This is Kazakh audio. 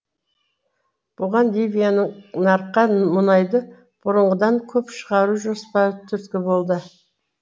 бұған ливияның нарыққа мұнайды бұрынғыдан көп шығару жоспары түрткі болды